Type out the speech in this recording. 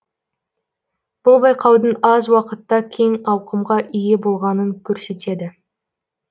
бұл байқаудың аз уақытта кең ауқымға ие болғанын көрсетеді